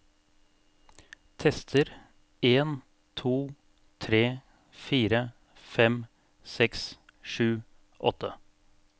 Tester en to tre fire fem seks sju åtte